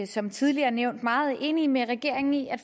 som tidligere nævnt meget enige med regeringen i at